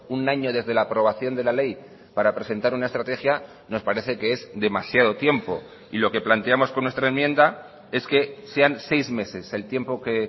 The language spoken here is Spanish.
un año desde la aprobación de la ley para presentar una estrategia nos parece que es demasiado tiempo y lo que planteamos con nuestra enmienda es que sean seis meses el tiempo que